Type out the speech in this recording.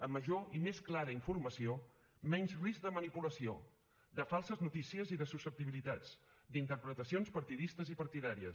amb major i més clara informació menys risc de manipulació de falses notícies i de susceptibilitats d’interpretacions partidistes i partidàries